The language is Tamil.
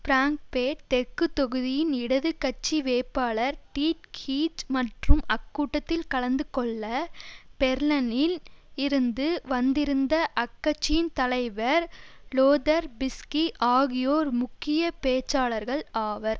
பிராங்கபேர்ட் தெற்கு தொகுதியின் இடது கட்சி வேட்பாளர் டீட் ஹீட் மற்றும் அக்கூட்டத்தில் கலந்து கொள்ள பெர்லனில் இருந்து வந்திருந்த அக்கட்சியின் தலைவர் லோதர் பிஸ்கி ஆகியோர் முக்கிய பேச்சாளர்கள் ஆவர்